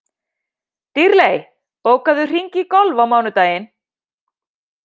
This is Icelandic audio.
Dýrley, bókaðu hring í golf á mánudaginn.